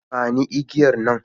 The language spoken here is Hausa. Ba ni igiyar nan.